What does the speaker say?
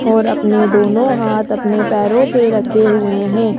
और अपने दोनो हाथ अपने पैरो पे रखे हुए हैं।